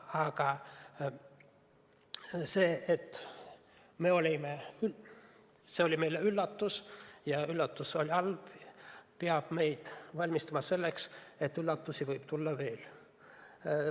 Aga see, et see oli meile üllatus ja et see üllatus oli halb, peab meid ette valmistama selleks, et üllatusi võib tulla veel.